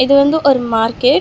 இது வந்து ஒரு மார்க்கெட் .